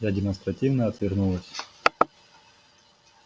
я демонстративно отвернулась